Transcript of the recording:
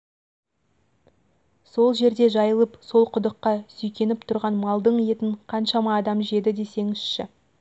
сол жерде жайылып сол құдыққа сүйкеніп тұрған малдың етін қаншама адам жеді десеңізші